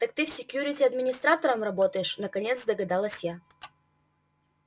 так ты в секьюрити администратором работаешь наконец догадалась я